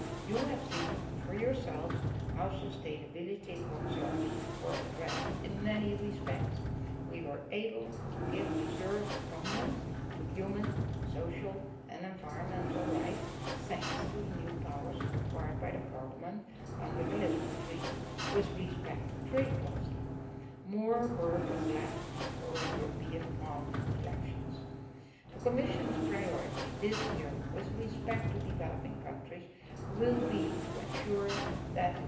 Members of the committee have seen for themselves how sustainability concerns were addressed. In many respects, we were able to give deserved prominence to human, social and environmental rights, thanks to the new powers acquired by Parliament under the Lisbon Treaty with respect to trade policy. More work remains to be done before the European Parliament elections. The Commission's priority this year with respect to developing countries will be to ensure